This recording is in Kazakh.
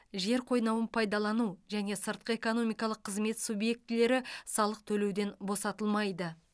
жер қойнауын пайдалану және сыртқы экономикалық қызмет субъектілері салық төлеуден босатылмайды